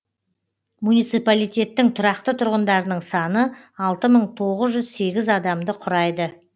муниципалитеттің тұрақты тұрғындарының саны алты мың тоғыз жүз сегіз адамды құрайды